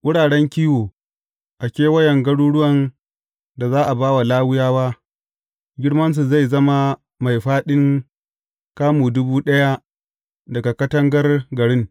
Wuraren kiwo a kewayen garuruwan da za a ba wa Lawiyawa, girmansu zai zama mai fāɗin kamu dubu ɗaya daga katangar garin.